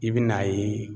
I bɛ n'a ye